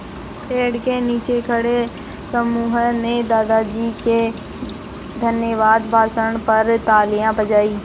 पेड़ के नीचे खड़े समूह ने दादाजी के धन्यवाद भाषण पर तालियाँ बजाईं